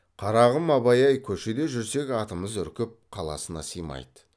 қарағым абай ай көшеде жүрсек атымыз үркіп қаласына сыймайды